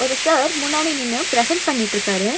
ஒரு சார் முன்னாடி நின்னு ப்ரெசென்ட் பண்ணிட்ருக்காரு.